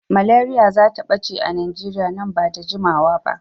Malaria zata ɓace a Najeriya man ba da jimawa ba.